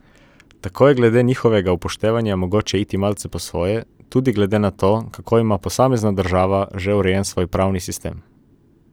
Tako je glede njihovega upoštevanja mogoče iti malce po svoje, tudi glede na to, kako ima posamezna država že urejen svoj pravni sistem.